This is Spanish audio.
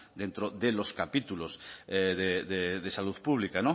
dentro de los capítulos de salud pública